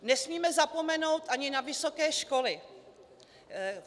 Nesmíme zapomenout ani na vysoké školy.